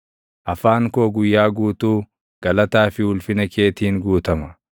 Afaan koo guyyaa guutuu, galataa fi ulfina keetiin guutama.